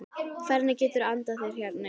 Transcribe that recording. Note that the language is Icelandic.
Hvernig geturðu andað hérna inni?